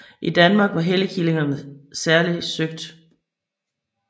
I Danmark var helligkilderne særlig søgt